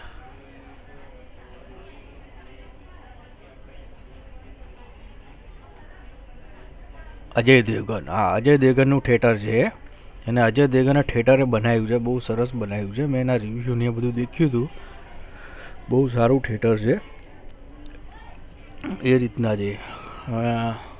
અજય દેવગણ અ અજય દેવગણ નું theatre છે અને અજય દેવગણ ને theatre ને બનાવ્યું બનાયી છે બહુ સરસ બનાવ્યું છે અને મે એના દેખ્યું તુ બહુ સારું theatre છે એ રીતના છે આહ